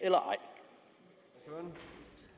er